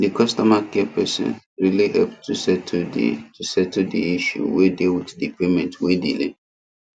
the customer care person really help to settle the to settle the issue wey dey with the payment wey delay